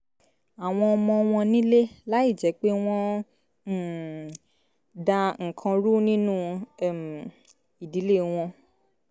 àwọn ọmọ wọn nílé láìjẹ́ pé wọ́n ń um da nǹkan rú nínú um ìdílé wọn